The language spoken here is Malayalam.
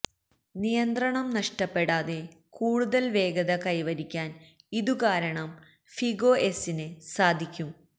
നിയന്ത്രണം നഷ്ടപ്പെടാതെ കൂടുതല് വേഗത കൈവരിക്കാന് ഇതുകാരണം ഫിഗൊ എസിന് സാധിക്കും